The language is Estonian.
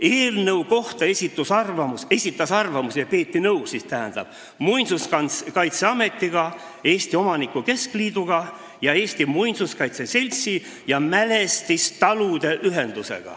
Eelnõu kohta esitasid arvamuse – seega nendega peeti nõu – Muinsuskaitseamet, Eesti Omanike Keskliit ning Eesti Muinsuskaitse Selts ja mälestistalude ühendus.